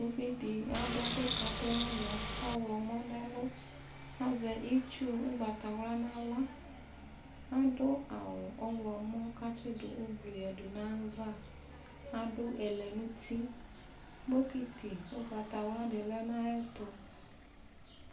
Uvi dɩ adʋ ɛkʋkatʋ nʋ ʋnɔ ɔɣlɔmɔ nʋ ɛlʋ Azɛ itsu ʋgbatawla nʋ aɣla Adʋ awʋ ɔɣlɔmɔ kʋ atsɩdʋ ʋblʋ yǝdu nʋ ayava Adʋ ɛlɛnʋti Bokiti ʋgbatawla dɩ lɛ nʋ ayɛtʋ